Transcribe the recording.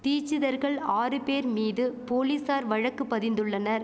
தீச்சிதர்கள் ஆறு பேர் மீது போலீசார் வழக்கு பதிந்துள்ளனர்